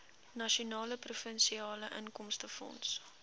nasionale provinsiale inkomstefonds